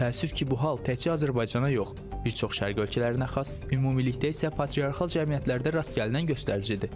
Təəssüf ki, bu hal təkcə Azərbaycana yox, bir çox şərq ölkələrinə xas ümumilikdə isə patriarxal cəmiyyətlərdə rast gəlinən göstəricidir.